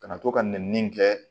Ka na to ka nɛni kɛ